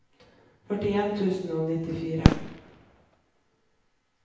førtien tusen og nittifire